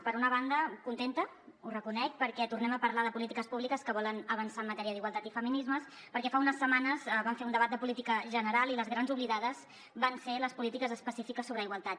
per una banda contenta ho reconec perquè tornem a parlar de polítiques públiques que volen avançar en matèria d’igualtat i feminismes perquè fa unes setmanes vam fer un debat de política general i les grans oblidades van ser les polítiques específiques sobre igualtat